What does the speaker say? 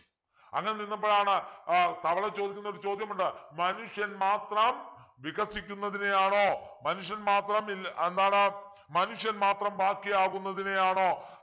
അങ്ങനെ നിന്നപ്പോഴാണ് ആഹ് തവള ചോദിക്കുന്നൊരു ചോദ്യമുണ്ട് മനുഷ്യൻ മാത്രം വികസിക്കുന്നതിനെയാണോ മനുഷ്യൻ മാത്രം ഇല്ല എന്താണ് മനുഷ്യൻ മാത്രം ബാക്കിയാവുന്നതിനെയാണോ